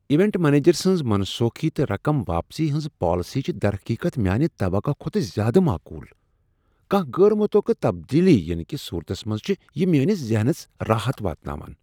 Event manager سنٛز منسوخی تہٕ رقم واپسی ہنٛز پالیسیہٕ چھ درحقیقت میانہ توقع کھوتہٕ زیادٕ معقول۔ کانٛہہ غیر متوقع تبدیلی ینہٕ کس صورتس منٛز چھ یہ میٲنس ذہنس راحت واتناوان۔